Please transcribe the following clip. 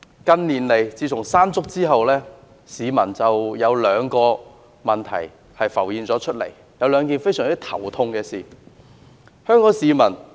近年來，自從颱風山竹吹襲過後，市民腦海浮現了兩個令人非常頭痛的問題。